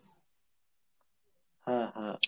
হ্যাঁ হ্যাঁ